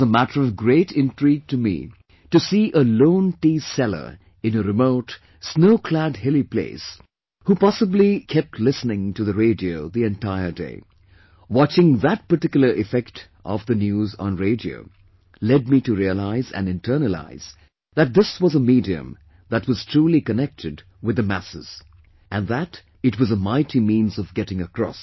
It was matter of great intrigue to me to see a lone tea seller in a remote, snow clad hilly place, who possibly kept listening to the radio the entire day... watching that particular effect of the news on radio led me to realize & internalise that this was a medium that was truly connected with the masses... and that it was a mighty means of getting across